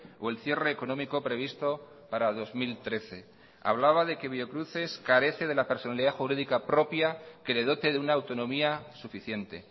o el cierre económico previsto para dos mil trece hablaba de que biocruces carece de la personalidad jurídica propia que le dote de una autonomía suficiente